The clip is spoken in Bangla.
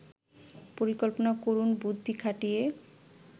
পরিকল্পনা করুন বুদ্ধি খাটিয়ে